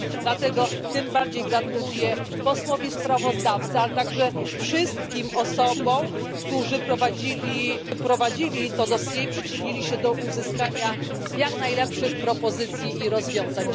Dlatego tym bardziej gratuluję posłowi sprawozdawcy, a także wszystkim osobom, które prowadziły to dossier i przyczyniły się do uzyskania jak najlepszych propozycji i rozwiązań.